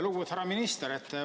Lugupeetud härra minister!